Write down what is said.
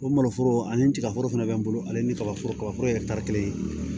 O maloforo ani tiga foro fɛnɛ be n bolo ale ni kaba foro ka foro yɛrɛ taari kelen